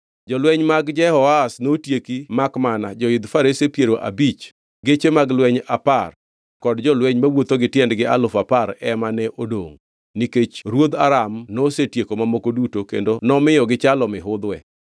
Jolweny mag Jehoahaz notieki makmana joidh farese piero abich, geche mag lweny apar kod jolweny mawuotho gi tiendgi alufu apar ema ne odongʼ, nikech ruodh Aram nosetieko mamoko duto kendo nomiyo gichalo mihudhwe.